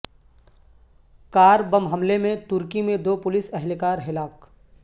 کار bomb حملے میں ترکی میں دو پولیس اہلکار ہلاک